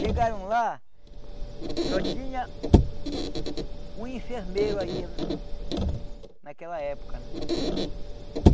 Chegaram lá, só tinha um enfermeiro aí naquela época, né?